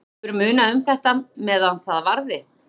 Hefur munað um þetta meðan það varði.